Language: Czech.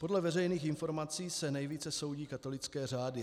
Podle veřejných informací se nejvíce soudí katolické řády.